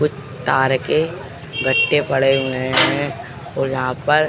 कुछ तार के गट्टे पड़े हुए हैं और यहाँ पर --